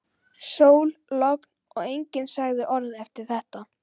Sól, logn og enginn sagði orð eftir þetta.